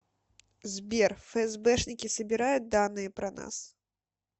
сбер фсбшники собирают данные про нас